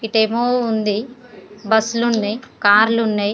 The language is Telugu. ఇటేమో ఉంది బస్సులు ఉన్నయ్ కార్లు ఉన్నయ్.